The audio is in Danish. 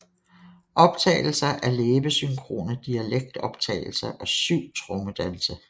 Optagelser af læbesynkrone dialektoptagelser og syv trommedanse